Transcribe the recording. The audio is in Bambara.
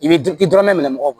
I bɛ d i dɔrɔmɛ mugan mɔgɔw kan